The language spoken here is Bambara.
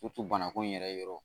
banako in yɛrɛ yɔrɔ